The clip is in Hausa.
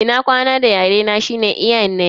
Ina kwana da yare na shine "Nyene".